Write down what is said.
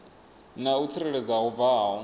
na u tsireledzea hu bvaho